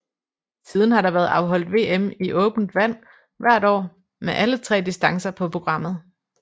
Siden har der været afholdt VM i åbent vand hvert år med alle tre distancer på programmet